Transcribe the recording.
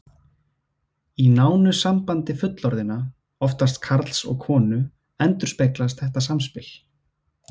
Í nánu sambandi fullorðinna, oftast karls og konu, endurspeglast þetta samspil.